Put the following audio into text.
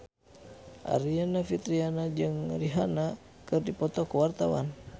Aryani Fitriana jeung Rihanna keur dipoto ku wartawan